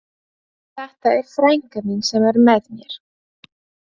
Þetta er frænka mín sem er með mér!